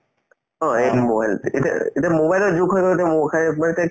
অ, এইটো mobile এতিয়াৰ এতিয়া mobile ৰ যুগ হৈ গল এতিয়া মোৰ খাইয়ে ব এতিয়া